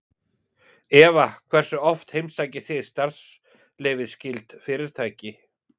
Eva: Hversu oft heimsækið þið starfsleyfisskyld fyrirtæki?